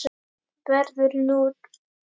verður núll.